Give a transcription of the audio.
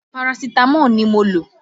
Parasitamọ́ọ̀ ni mo lò